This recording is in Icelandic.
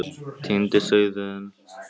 Týndi sauðurinn